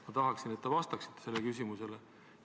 Ma tahaksin, et te vastaksite sellele küsimusele.